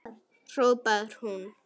hrópar hún.